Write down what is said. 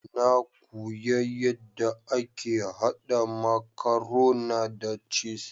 Na kuya yadda ake haɗa makarona da cis.